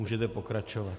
Můžete pokračovat.